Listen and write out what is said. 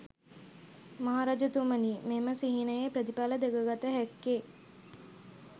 මහරජතුමනි, මෙම සිහිනයේ ප්‍රතිඵල දැකගත හැක්කේ